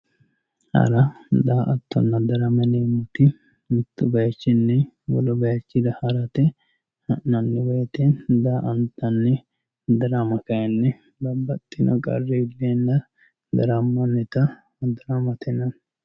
Hara daa"atanna darama yineemmoti mittu baychinni wolu baychira hara ha'nanni woyte daa"antanni darama kayni babbaxxino qarri iilleenna ha'nannita daramate yinanni,